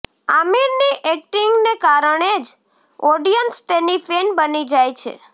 આમિરની એક્ટિંગને કારણે જ ઓડિયન્સ તેની ફેન બની જાય છે